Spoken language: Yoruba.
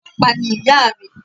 Ọlọ́pàá ni ìyà mi